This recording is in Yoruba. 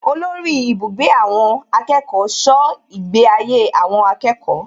Olórí ibùgbé àwọn akẹ́kọ̀ọ́ ṣọ́ ìgbé ayé àwọn akẹ́kọ̀ọ́